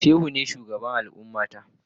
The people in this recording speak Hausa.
Shehu shine shugaban al'ummata.